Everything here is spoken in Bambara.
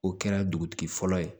O kɛra dugutigi fɔlɔ ye